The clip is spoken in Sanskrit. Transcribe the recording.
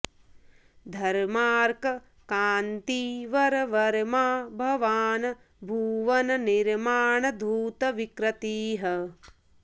धर्मार्क कान्ति वर वर्मा भवान् भुवन निर्माण धूत विकृतिः